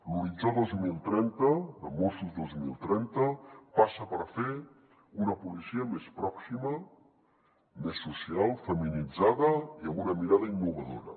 l’horitzó dos mil trenta de mossos dos mil trenta passa per fer una policia més pròxima més social feminitzada i amb una mirada innovadora